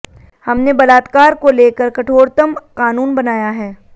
हमने बलात्कार को लेकर कठोरतम कानून बनाया है